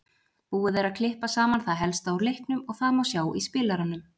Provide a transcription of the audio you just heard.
Búið er að klippa saman það helsta úr leiknum og það má sjá í spilaranum.